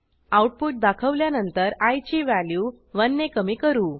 output दाखवल्यानंतर iची value 1 ने कमी करू